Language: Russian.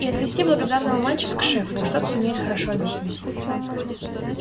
и отвести благодарного мальчика к шефу уж тот сумеет хорошо объяснить